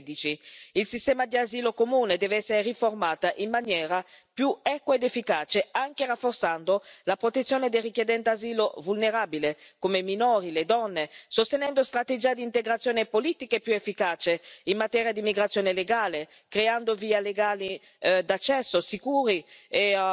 2016. Il sistema di asilo comune deve essere riformato in maniera più equa ed efficace anche rafforzando la protezione dei richiedenti asilo vulnerabili, come i minori e le donne, sostenendo strategie di integrazione e politiche più efficaci in materia di immigrazione legale, creando vie d'accesso sicure